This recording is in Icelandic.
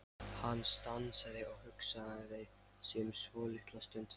Hann stansaði og hugsaði sig um svolitla stund.